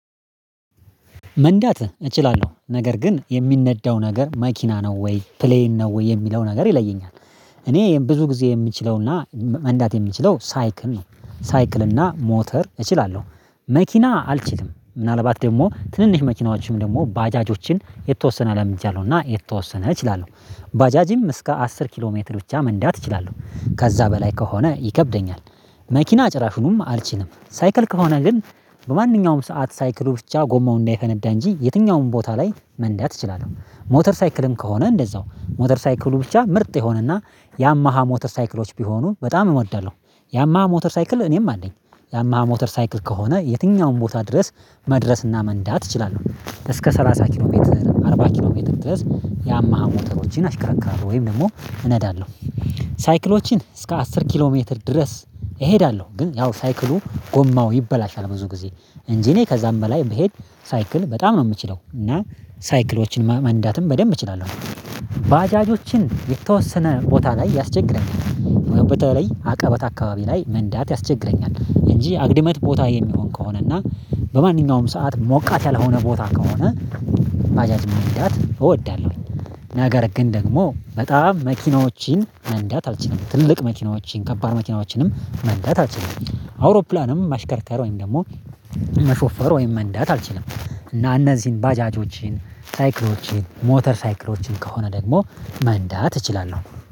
መንዳት እችላለሁ ነገር ግን የሚነዳው ነገር መኪና ነው ወይ ፕሌይን ነው ወይ የሚለው ነገር ይለየኛል። እኔ ብዙ ጊዜ የምችለውና መንዳት የምችለው ሳይክል ነው ሳይክልና ሞተር እችላለሁ። መኪና አልችልም ምናልባት ደግሞ ትንንሽ መኪናዎችን ደግሞ ባጃጆችን የተወሰነ ለምድጃለሁ እና የተወሰነ እችላለሁ። ባጃጂም እስከ አስር ኪሎ ሜትር ብቻ መንዳት እችላለሁ ከዛ በላይ ከሆነ ይከብደኛል። መኪና ጭራሹንም አልችልም ሳይክል ከሆነ ግን። በማንኛውም ሰዓት ሳይክሉ ብቻ ጎማው እንዳይፈነዳ እንጂ የትኛውም ቦታ ላይ መንዳት እችላለሁ። ሞተር ሳይክልም ከሆነ እንደዛው ሞተር ሳይክሉ ብቻ ምርጥ የሆነና ያማሃ ሞተር ሳይክሎች ቢሆኑ በጣም እወዳለሁ። ያማሃ ሞተር ሳይክል እኔም አለኝ። ያማሃ ሞተር ሳይክል ከሆነ የትኛውም ቦታ ድረስ መድረስና መንዳት እችላለሁ እስከ ሰላሳ ኪሎ ሜትር አርባ ኪሎ ሜትር ድረስ ያማሃ ሞተሮችን አሽከራክራለሁ ወይም ደግሞ እነዳለሁ። ሳይክሎችን እስከ አስር ኪሎ ሜትር ድረስ እሄዳለሁ። ግን ያው ሳይክሉ ጎማው ይበላሻል ብዙ ጊዜ እንጂ እኔ ከዛም በላይ ብሄድ ሳይክል በጣም ነው የምችለው እና ሳይክሎችን መንዳትም በደንብ እችላለሁ። ባጃጆችን የተወሰነ ቦታ ላይ ያስቸግረኛል በተለይ አቀበት አካባቢ ላይ መንዳት ያስቸግረኛል እንጂ አግድመት ቦታ የሚሆን ከሆነ እና በማንኛውም ሰዓት ሞቃት ያልሆነ ቦታ ከሆነ ባጃጅ መንዳት እወዳለሁ። ነገር ግን ደግሞ በጣም መኪናዎችን መንዳት አልችልም ትልቅ መኪናዎችን ከባድ መኪናዎችንም መንዳት አልችልም አውሮፕላንም ማሽከርከር ወይም ደግሞ መሾፈር ወይም መንዳት አልችልም። እና እነዚህን ባጃጆችን ሳይክሎችን ሞተር ሳይክሎችን ከሆነ ደግሞ መንዳት እችላለሁ